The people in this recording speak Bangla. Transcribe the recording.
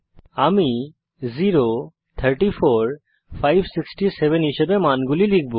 আমি 567 হিসাবে মানগুলি লিখব